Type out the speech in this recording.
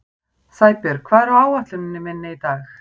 Sæbjörg, hvað er á áætluninni minni í dag?